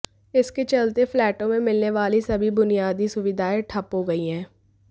इसके चलते फ्लैटों में मिलने वाली सभी बुनियादी सुविधाएं ठप हो गई हैं